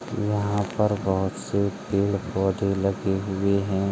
यहाॅं पर बहोत से पेड़-पौधे लगे हुए हैं।